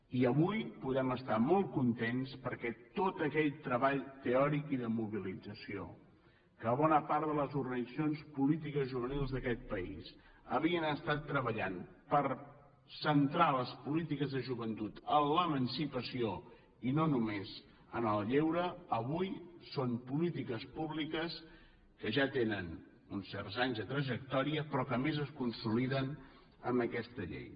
i avui podem estar molt contents perquè tot aquell treball teòric i de mobilització que bona part de les organitzacions polítiques i juvenils d’aquest país havien estat treballant per centrar les polítiques de joventut en l’emancipació i no només en el lleure avui són polítiques públiques que ja tenen uns certs anys de trajectòria però que a més es consoliden amb aquesta llei